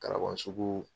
Kalaban sugu